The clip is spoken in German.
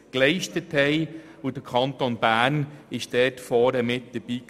Der Kanton Bern war dort vorne mit dabei.